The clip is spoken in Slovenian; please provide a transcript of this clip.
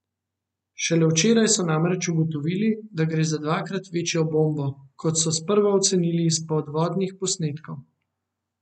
Šele včeraj so namreč ugotovili, da gre za dvakrat večjo bombo, kot so sprva ocenili iz podvodnih posnetkov.